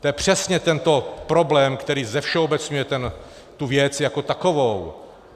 To je přesně tento problém, který zevšeobecňuje tu věc jako takovou.